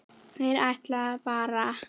Þeir ætluðu bara.